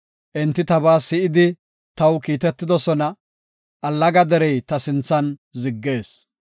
Enti tabaa si7idi taw kiitetoosona; allaga derey ta sinthan ziggees.